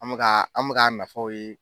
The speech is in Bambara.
An mɛ ka an mɛ k'a nafaw ye.